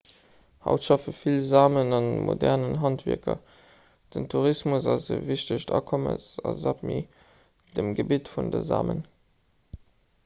haut schaffe vill samen a modernen handwierker den tourismus ass e wichtegt akommes a sápmi dem gebitt vun de samen